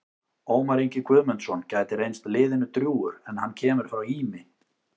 Ómar Ingi Guðmundsson gæti reynst liðinu drjúgur en hann kemur frá Ými.